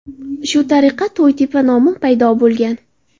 Shu tariqa To‘ytepa nomi paydo bo‘lgan.